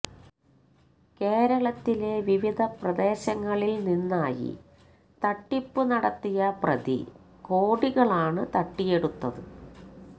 കേരളത്തിലെ വിവിധ പ്രദേശങ്ങളില് നിന്നായി തട്ടിപ്പു നടത്തിയ പ്രതി കോടികളാണ് തട്ടിയെടുത്തത്